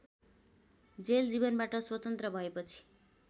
jail जीवनबाट स्वतन्त्र भएपछि